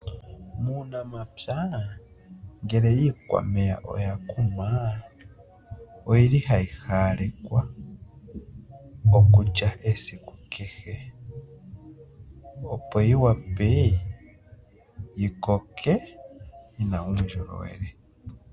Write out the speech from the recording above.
Muunamapya ngele iikwameya oyakunwa oyili hayi haalekwa okulya esiku kehe, opo yiwape yikoke yina uundjolowele.